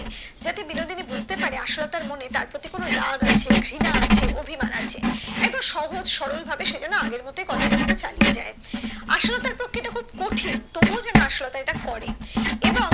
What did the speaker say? যাতে বিনোদিনী বুঝতে পারে আশালতার মনে তার প্রতি কোনো রাগ আছে ঘৃণা আছে অভিমান আছে এতো সহজ সরল ভাবে সে যেন আগের মতোই কথা বার্তা চালিয়ে যায় আশালতার পক্ষে এটা খুব কঠিন তবু ও যেন আশালতা এটা করে এবং